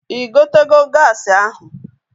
Ị gotego gaasi ahụ?